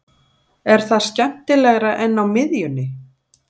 Er það skemmtilegra en á miðjunni?